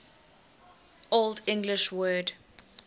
old english word